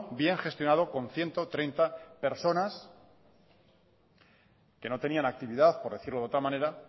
bien gestionado con ciento treinta personas que no tenían actividad por decirlo de otra manera